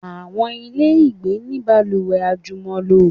Àwọn ilé ìgbé ní balùwẹ̀ àjùmọ̀lò.